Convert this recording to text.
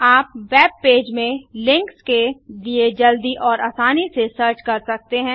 आप web page में links के लिए जल्दी और आसानी से सर्च कर सकते हैं